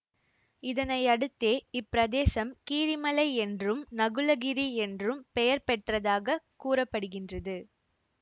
இதனையடுத்தே இப்பிரதேசம் கீரிமலை என்றும் நகுலகிரி என்றும் பெயர் பெற்றதாக கூற படுகின்றது